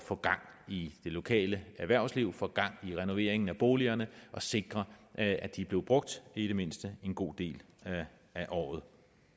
få gang i det lokale erhvervsliv få gang i renoveringen af boligerne og sikre at de bliver brugt i det mindste en god del af året